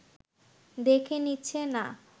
দেখে নিচ্ছে না